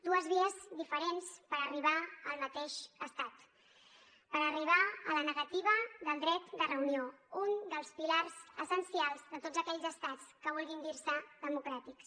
dues vies diferents per arribar al mateix estat per arribar a la negativa del dret de reunió un dels pilars essencials de tots aquells estats que vulguin dir se democràtics